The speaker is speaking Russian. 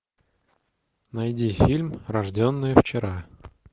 найди фильм рожденные вчера